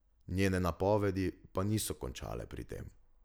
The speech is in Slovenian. Njene napovedi pa niso končale pri tem.